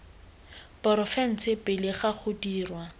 porofense pele ga go dirwa